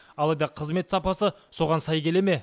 алайда қызмет сапасы соған сай келе ме